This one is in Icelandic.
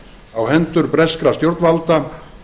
á hendur breskra stjórnvalda